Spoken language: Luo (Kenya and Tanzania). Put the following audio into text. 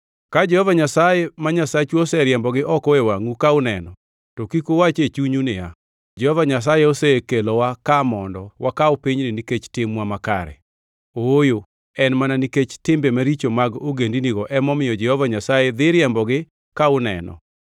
Ka Jehova Nyasaye ma Nyasachu oseriembogi oko e wangʼu ka uneno, to kik uwach e chunyu niya, “Jehova Nyasaye osekelowa ka mondo wakaw pinyni nikech timwa makare.” Ooyo en mana nikech timbe maricho mag ogendinigo emomiyo Jehova Nyasaye dhi riembogi ka uneno.